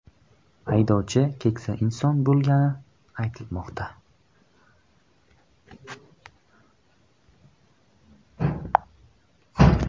Haydovchi keksa inson bo‘lgani aytilmoqda.